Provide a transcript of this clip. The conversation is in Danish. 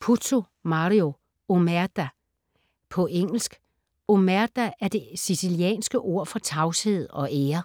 Puzo, Mario: Omerta På engelsk. Omerta er det sicilianske ord for tavshed og ære.